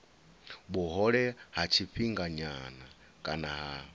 vhuhole ha tshifhinganyana kana ha